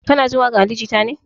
Kana jin waƙan ali jita ne?